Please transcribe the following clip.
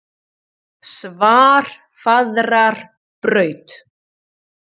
Svarfaðarbraut